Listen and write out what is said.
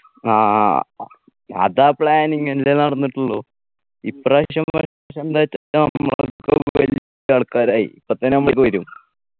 ആ അതാ planning അല്ലെ നടന്നിട്ടുള്ളൂ ഇപ്പ്രാവശ്യം നമ്മളൊക്കെ വലിയ ആൾക്കാരായി ഇപ്പൊ തന്നെ നമ്മ വരും